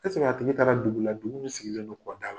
a tigi taara dugu la dugu min sigilen don kɔda la?